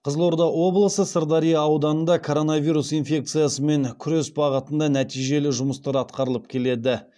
қызылорда облысы сырдария ауданында коронавирус инфекциясымен күрес бағытында нәтижелі жұмыстар атқарылып келеді